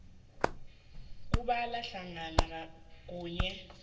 kubala hlangana nokhunye